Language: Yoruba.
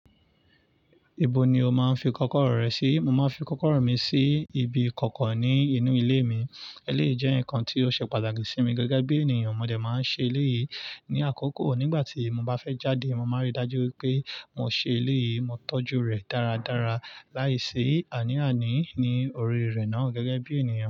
Ibo ni o máa ń fi kọ́kọ́rọ́ rẹ sí? Mo máa ń fi kọ́kọ́rọ́ mi sí ibi kọ̀ọ̀kan ní inú ilé mi. Eléyìí jẹ́ nǹkan tí ó ṣe pàtàkì sí mi gẹ́gẹ́ bí ènìyàn. Mo dẹ̀ máa ń ṣe eléyìí ní àkókò. Nígbà tí mo bá fẹ́ jáde, mo máa rí i dájú pé mo ṣe eléyìí, mo tọ́jú rẹ̀ dáradára. Láìsí àní-àní ní orí rẹ̀ náà gẹ́gẹ́ bí ènìyàn.